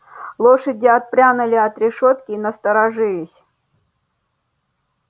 лошади отпрянули от решётки и насторожились